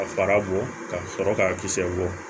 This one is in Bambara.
Ka fara bɔ ka sɔrɔ k'a kisɛ bɔ